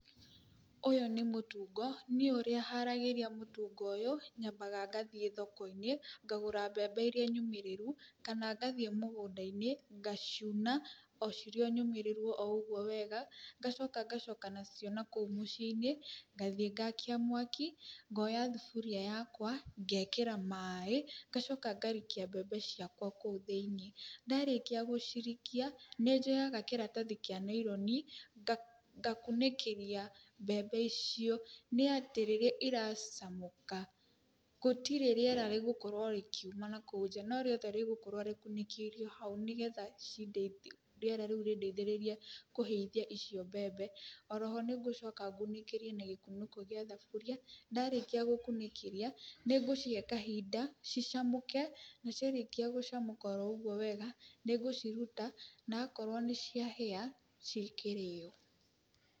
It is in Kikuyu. Ũyũ nĩ mũtungo. Niĩ ũrĩa haragĩria mũtungo ũyũ, nyambaga ngathiĩ thoko-inĩ, ngagũra mbembe iria nyũmĩrĩru, kana ngathiĩ mũgũnda-inĩ, ngaciuna o cirĩ o nyũmĩrĩru o ũguo wega , ngacoka ngacoka nacio nakũu mũciĩ-inĩ, ngathiĩ ngaakia mwaki, ngoya thuburia yakwa, ngekĩra maaĩ, ngacoka ngarikia mbembe ciakwa o kũu thĩini. Ndarikia gũcirikia, nĩ njoyaga kĩratathi kĩa naironi, ngakunĩkĩria mbembe icio. Nĩ atĩ rĩrĩa iracamũka, gutirĩ rĩera rĩgũkorwo rĩkiuma nakũu nja, no rĩothe rĩgũkorwo rĩkunĩkĩirio hau nĩgetha cideithie rĩera rĩu rĩdeithĩrĩrie kũhĩithia icio mbembe. Oro ho ni ngũcoka ngunĩkĩrie na gĩkunĩko gíĩ thaburia. Ndarĩkia gũkunĩkĩria, nĩ ngũcihe kahinda cicamũke, na ciarĩkia gũcamũka oro ũguo wega nĩngũciruta, na akorwo nĩ ciahĩa, cigĩkĩrio.